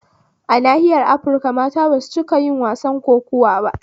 Ana nahiyar afirika mata basu ciika yin wasan kokuwa ba